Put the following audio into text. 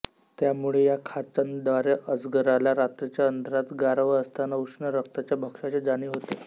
त्यामुळे या खाचांद्वारे अजगराला रात्रीच्या अंधारात गारवा असताना उष्ण रक्ताच्या भक्ष्याची जाणीव होते